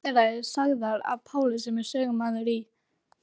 Nokkrar þeirra eru sagðar af Páli sem er sögumaður í